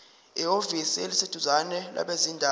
ehhovisi eliseduzane labezindaba